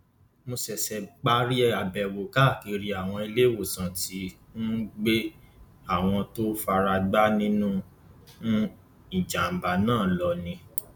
mo ṣẹṣẹ parí àbẹwò káàkiri àwọn iléèwòsàn tí um wọn gbé àwọn tó fara gbá nínú um ìjàmbá náà lọ ni